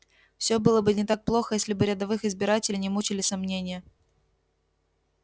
все было бы не так плохо если бы рядовых избирателей не мучили сомнения